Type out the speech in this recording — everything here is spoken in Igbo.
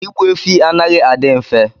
ịgbu efi anaghị adị mfe